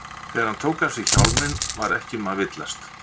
Þegar hann tók af sér hjálminn var ekki um að villast.